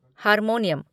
harmonium